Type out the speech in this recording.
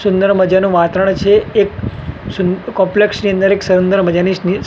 સુંદર મજાનો વાતરણ છે એક સુન કોમ્પ્લેક્સ ની અંદર એક સુંદર મજાની --